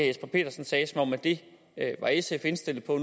jesper petersen sagde som at det var sf indstillet på